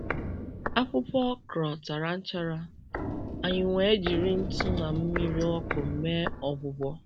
Akwụkwọ okra tara nchara, anyị wee jiri ntụ na mmiri ọkụ mee ọgwụgwọ.